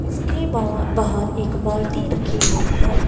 इसके बाहर एक बाल्टी रखी हुई है.